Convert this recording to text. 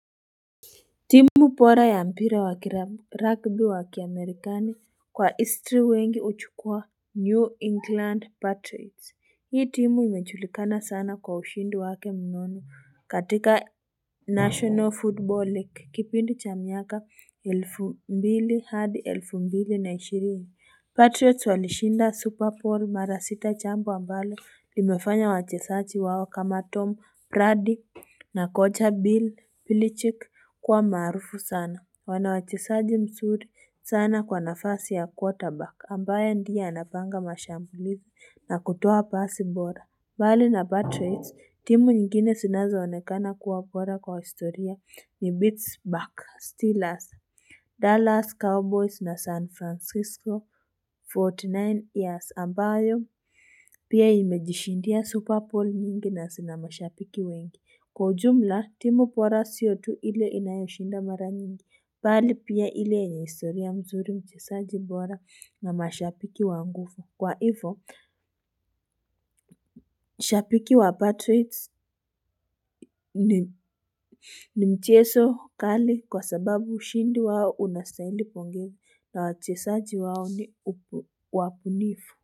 Timu bora ya mpira wakirugby wakiamerikani kwa histri wengi huchukua New England Patriots Hii timu imejulikana sana kwa ushindi wake mnono katika National football League kipindi cha miaka elfu mbili hadi elfu mbili na ishirini Patriots walishinda Super Bowl mara sita jambo ambalo imefanya wachesaji wao kama Tom Brady na Koja Bill Pilichick kuwa maarufu sana. Wanawachezaji mzuri sana kwa nafasi ya quarterback ambaye ndiye anapanga mashambulivu na kutuwa pasi bora. Bali na batteries, timu nyingine sinazoonekana kuwa bora kwa historia ni Beats, Buck, Steelers, Dallas Cowboys na San Francisco, 49 years ambayo. Pia imejishindia superball mingi na sina mashabiki wengi. Kwa jumla timu bora sio tu ili inayoshinda mara mingi. Bali pia ile yenye historia mzuri mchezaji bora na mashabiki wa nguvu. Kwa hivo, mshabiki wa patroits ni mchezo mkali kwa sababu ushindi wao unastahili pongezi na wachezaji wao ni wabunifu.